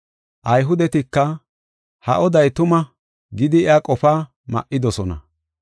Ayhudetika, “Ha oday tuma” gidi iya qofaa ma7idosona.